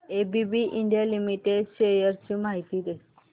ABB India limited shares ची माहिती दे